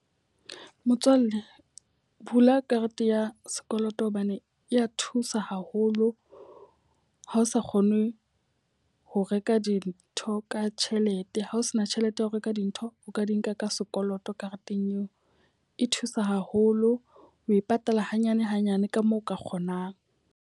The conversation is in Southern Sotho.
Motswalle, bula karete ya sekoloto hobane e ya thusa haholo ha o sa kgone ho reka dintho ho ka tjhelete, ha o sena tjhelete ya ho reka dintho o ka di nka ka sekoloto kareteng eo. E thusa haholo, o e patala hanyane hanyane ka moo o ka kgonang.